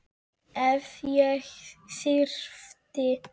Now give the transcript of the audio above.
Ef ég þyrfti.